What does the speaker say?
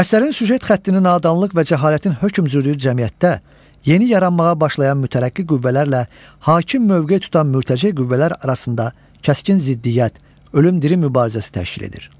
Əsərin süjet xətti nadanlıq və cəhalətin hökm sürdüyü cəmiyyətdə yeni yaranmağa başlayan mütərəqqi qüvvələrlə hakim mövqe tutan mürtəce qüvvələr arasında kəskin ziddiyyət, ölüm-dirim mübarizəsi təşkil edir.